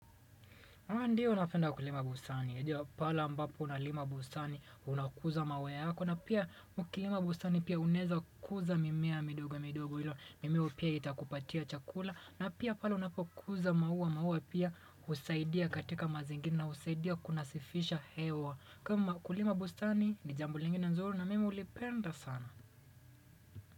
Ndiyo unapenda kulima bustani yajua pahala ambapo unalima bustani unakuza mawe yako na pia ukilima bustani pia unaeza kuza mimea midogo midogo ilo mimeo pia itakupatia chakula na pia pale unapokuza maua maua pia husaidia katika mazingira na husaidia kunasifisha hewa kama ukulima bustani ni jambo lingine nzuri na mimi hulipenda sana.